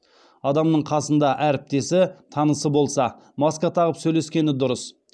адамның қасында әріптесі танысы болса маска тағып сөйлескені дұрыс